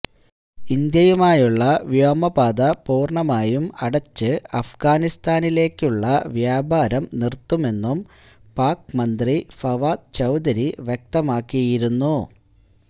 ഇന്ത്യയുമായുള്ള വ്യോമപാത പൂര്ണമായും അടച്ച് അഫ്ഗാനിസ്ഥാനിലേക്കുള്ള വ്യാപാരം നിര്ത്തുമെന്നും പാക് മന്ത്രി ഫവാദ് ചൌധരി വ്യക്തമാക്കിയിരുന്നു